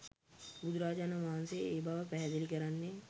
බුදුරජාණන් වහන්සේ ඒ බව පැහැදිලි කරන්නේ